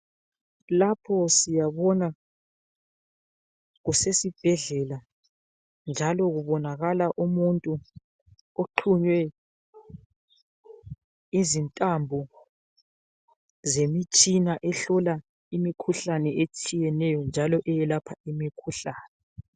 Lapho siyabona kusesibhedlela njalo kubonakala umuntu oqhunywe izintambo zemitshina ehlola imikhuhlane etshiyeneyo njalo eyelapha imikhuhlane.